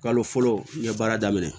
Kalo fɔlɔ n ye baara daminɛ